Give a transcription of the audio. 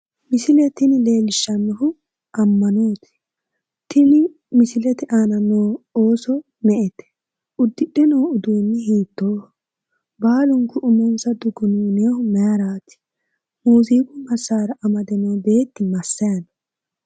Misile tini leellishshannohu ammanoyiite, tini misilete aana nooti ooso me'ete? uddidhe noo uduunni hiitooho? baalunku umonsa dugunuuninohu maayiiraati? muuziiqu massaara amade noo beeti massayi no?